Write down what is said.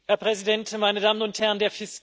Herr Präsident, meine Damen und Herren!